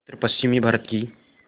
उत्तरपश्चिमी भारत की